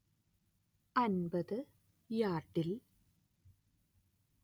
അന്‍പത്ത് യാർഡിൽ